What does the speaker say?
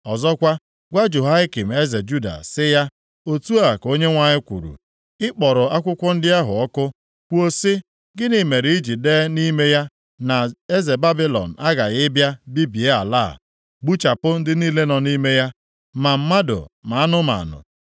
Ọzọkwa, gwa Jehoiakim eze Juda sị ya, ‘otu a ka Onyenwe anyị kwuru, Ị kpọrọ akwụkwọ ndị ahụ ọkụ, kwuo sị, “Gịnị mere i ji dee nʼime ya na eze Babilọn aghaghị ịbịa bibie ala a, gbuchapụ ndị niile nọ nʼime ya, ma mmadụ ma anụmanụ?”